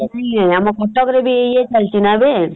ଆମ କଟକରେ ବି ଏବେ ଇଏ ଚାଲିଚିନା ଏବେ ।